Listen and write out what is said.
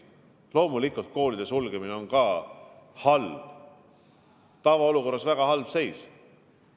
Loomulikult on koolide sulgemine halb, see on tavaolukorras väga halb seis.